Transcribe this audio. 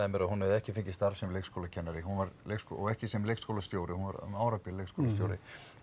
mér að hún hefði ekki fengið starf sem leikskólakennari hún var og ekki sem leikskólastjóri hún var um árabil leikskólastjóri